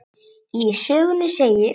Í sögunni segir: